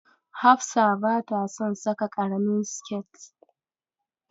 Hafsa bata son saka ƙaramin siket.